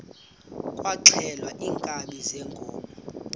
kwaxhelwa iinkabi zeenkomo